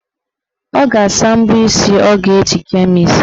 Ọ ga-asa mbọ isi ọ ga-eji kee mụ isi.